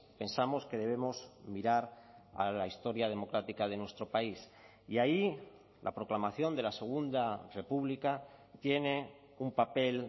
pensamos que debemos mirar a la historia democrática de nuestro país y ahí la proclamación de la segunda república tiene un papel